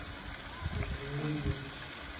закажи еду